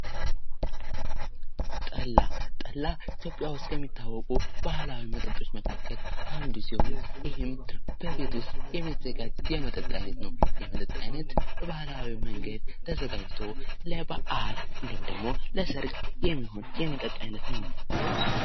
ለስላሳ ወተትና እርጎ ላይ የተመሠረቱ መጠጦች እንደ ፍራፍሬ ለስላሳዎች ገንቢና ጣፋጭ ናቸው።